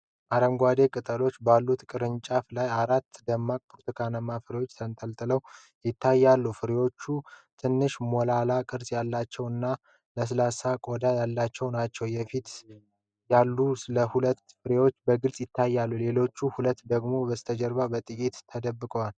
አረንጓዴ ቅጠሎች ባሉት ቅርንጫፎች ላይ አራት ደማቅ ብርቱካንማ ፍራፍሬዎች ተንጠልጥለው ይታያሉ። ፍሬዎቹ ትንሽ፣ ሞላላ ቅርጽ ያላቸው እና ለስላሳ ቆዳ ያላቸው ናቸው። የፊት ያሉት ሁለቱ ፍሬዎች በግልጽ ሲታዩ፣ ሌሎች ሁለቱ ደግሞ ከበስተጀርባ በጥቂቱ ተደብቀዋል።